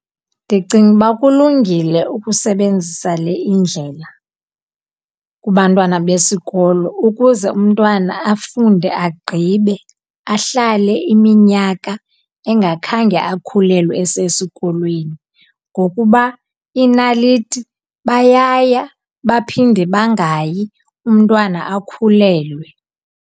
Ndicinga uba kulungile ukusebenzisa le indlela kubantwana besikolo, ukuze umntwana afunde agqibe ahlale iminyaka engakhange akhulelwe esesikolweni. Ngokuba inaliti bayaya, baphinde bangayi, umntwana akhulelwe.